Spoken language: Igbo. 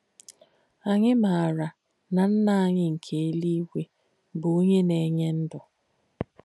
Ànyì máarà nà Nnà ànyì nkè èlúígwē bù Ònyè Nà-ènyé ndú.